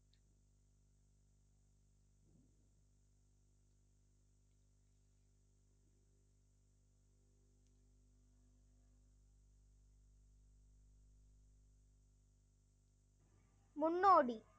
முன்னோடி